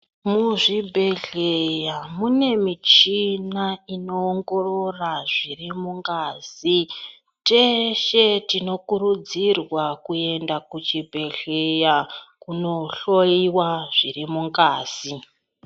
Muzvibhedhleya mune michina inoongorora zviri mungazi. Teshe tinokurudzirwa kuenda kuchibhedhleya kunohloyiwa zviri mungazi.